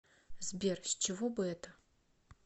сбер с чего бы это